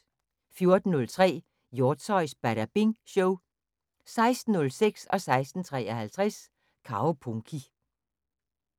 14:03: Hjortshøjs Badabing Show 16:06: Kaupunki 16:53: Kaupunki